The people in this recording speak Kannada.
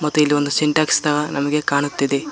ಮತ್ತು ಇಲ್ಲಿ ಒಂದು ಸಿಂಟೆಕ್ಸ್ ನಮಗೆ ಕಾಣುತ್ತಿದೆ.